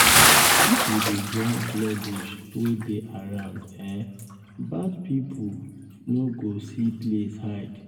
if we dey join clear bush wey dey around um bad pipo um no go see place hide. um